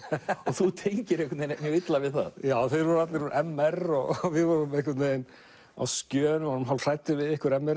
og þú tengir illa við það þeir voru allir úr m r og við vorum á skjön og hræddir við ykkur m r